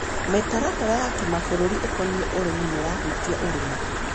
Mĩtaratara ya kĩmabũrũri ikonie ũrĩmi nĩĩrahutia ũrĩmi.